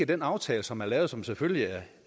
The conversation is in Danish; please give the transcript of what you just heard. den aftale som er lavet og som selvfølgelig